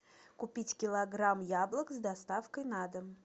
купить килограмм яблок с доставкой на дом